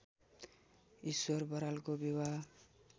ईश्वर बरालको विवाह